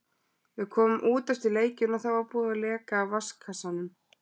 Við komum út eftir leikinn og þá var búið að leka af vatnskassanum.